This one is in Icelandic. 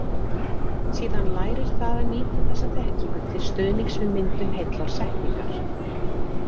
Síðan lærir það að nýta þessa þekkingu til stuðnings við myndun heillar setningar.